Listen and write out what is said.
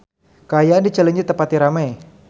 Kaayaan di Cileunyi teu pati rame